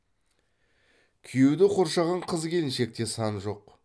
күйеуді қоршаған қыз келіншекте сан жоқ